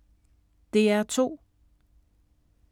DR2